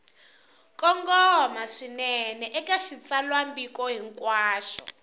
kongoma swinene eka xitsalwambiko hinkwaxo